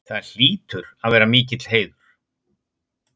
Það hlýtur að vera mikill heiður?